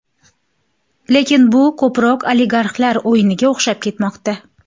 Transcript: Lekin bu ko‘proq oligarxlar o‘yiniga o‘xshab ketmoqda.